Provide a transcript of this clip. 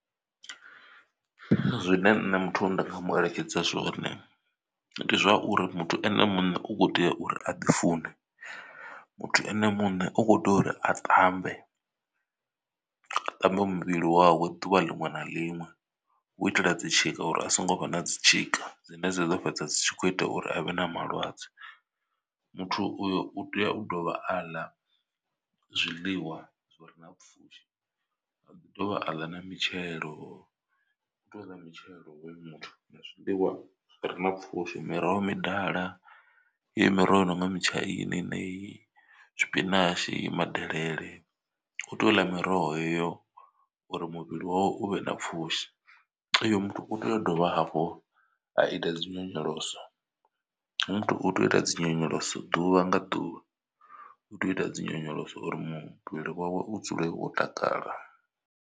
Zwine nṋe muthu ndi nga mu eletshedza zwone ndi zwauri muthu ene muṋe u kho tea uri a ḓi fune. Muthu ene muṋe u khou tea uri a ṱambe a ṱambe muvhili wawe ḓuvha liṅwe na liṅwe hu itela dzi tshika uri a songo vha na dzi tshika dzine dza ḓo fhedza dzi tshi khou ita uri avhe na malwadze. Muthu uyo u tea u dovha a ḽa zwiḽiwa zwi re na pfhushi a dovha a ḽa na mitshelo u tea u ḽa mitshelo hoyo muthu na zwiḽiwa zwi re na pfhushi miroho midala yeneyi. Miroho i nonga mutshaini yeneyi tshipinatshi madelele u tea u ḽa miroho yeyo uri muvhili wawe u vhe na pfhushi. Uyo muthu u tea u dovha hafho a ita dzinyonyoloso hoyo muthu u tea u ita dzinyonyoloso ḓuvha nga ḓuvha u tea u ita dzi nyonyoloso uri muvhili wawe u dzule wo takala.